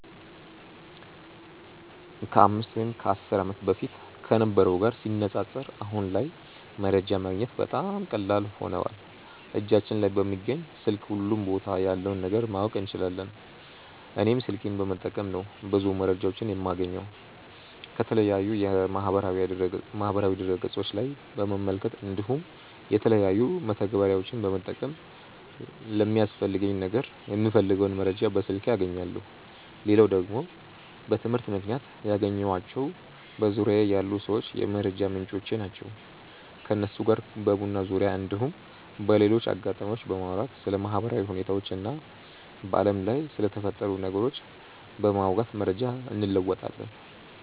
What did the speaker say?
ከ 5 ወይም 10 ዓመት በፊት ከነበረው ጋር ሲነጻጸር አሁን ላይ መረጃ ማግኘት በጣም ቀላል ሆኖዋል እጃችን ላይ በሚገኝ ስልክ ሁሉም ቦታ ያለውን ነገር ማወቅ እንችላለን። እኔም ስልኬን በመጠቀም ነው ብዙ መረጃዎችን የማገኘው። ከተለያዩ የማህበራዊ ድረ ገፆች ላይ በመመልከት እንዲሁም የተለያዩ መተግበሪያዎችን በመጠቀም ለሚያስፈልገኝ ነገር የምፈልገውን መረጃ በስልኬ አገኛለው። ሌላው ደግሞ በትምህርት ምክንያት ያገኘኳቸው በዙርያዬ ያሉ ሰዎች የመረጃ ምንጮቼ ናቸው። ከነሱ ጋር በቡና ዙርያ እንዲሁም በሌሎች አጋጣሚዎች በማውራት ስለ ማህበራዊ ሁኔታዎች እና በአለም ላይ ስለተፈጠሩ ነገሮች በማውጋት መረጃ እንለወጣለን።